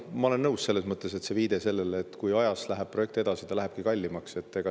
Ma olen nõus selle viitega, et kui projekt läheb ajas edasi, siis ta lähebki kallimaks.